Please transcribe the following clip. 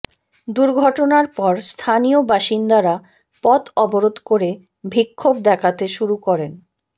দুর্ঘটনার পর স্থানীয় বাসিন্দারা পথ অবরোধ করে বিক্ষোভ দেখাতে শুরু করেন